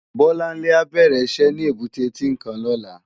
Bolanle á bèrè iṣè ni ébùté Tinkán lòlá